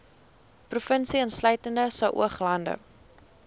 provinsie insluitende saoglande